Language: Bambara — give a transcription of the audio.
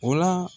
O la